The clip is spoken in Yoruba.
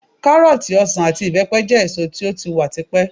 Kárọ́ọ̀tì, ọsàn àti ìbẹ́pẹ jẹ́ èso tó ti wà ti pẹ́.